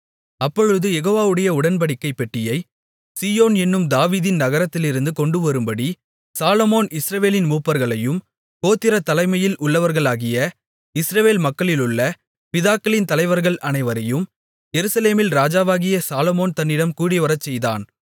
அப்பொழுது யெகோவாவுடைய உடன்படிக்கைப் பெட்டியைச் சீயோன் என்னும் தாவீதின் நகரத்திலிருந்து கொண்டுவரும்படி சாலொமோன் இஸ்ரவேலின் மூப்பர்களையும் கோத்திரத் தலைமையில் உள்ளவர்களாகிய இஸ்ரவேல் மக்களிலுள்ள பிதாக்களின் தலைவர்கள் அனைவரையும் எருசலேமில் ராஜாவாகிய சாலொமோன் தன்னிடம் கூடிவரச்செய்தான்